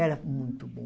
Era muito bom.